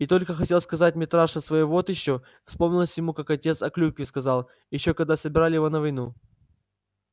и только хотел сказать митраша своё вот ещё вспомнилось ему как отец о клюкве сказал ещё когда собирали его на войну